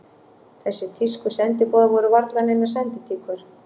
Þessir þýsku sendiboðar voru varla neinar senditíkur.